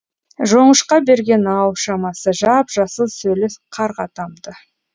жоңышқа берген ау шамасы жап жасыл сөлі қарға тамды